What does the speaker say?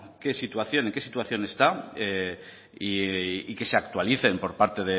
en qué situación está y que se actualicen por parte